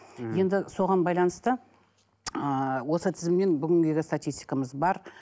мхм енді соған байланысты ыыы осы тізімнен бүгінгіге статистикамыз бар